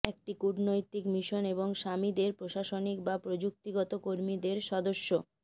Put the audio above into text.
একটি কূটনৈতিক মিশন এবং স্বামীদের প্রশাসনিক বা প্রযুক্তিগত কর্মীদের সদস্য